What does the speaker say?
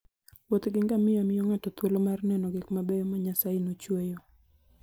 Wuoth gi ngamia miyo ng'ato thuolo mar neno gik mabeyo ma Nyasaye nochueyo.